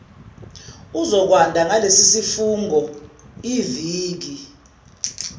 uzokwanda ngalesisifungo iviki